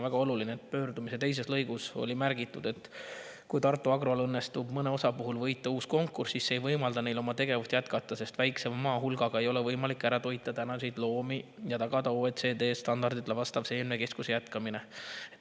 Pöördumise teises lõigus on märgitud: "Kui Tartu Agrol ka õnnestub mõne osa puhul võita uus konkurss, siis see ei võimalda neil oma tegevust jätkata, sest väiksema maa hulgaga ei ole võimalik ära toita tänaseid loomi ja tagada OECD standarditele vastav seemnekeskuse jätkamine.